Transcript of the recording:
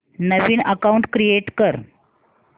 नवीन account create कर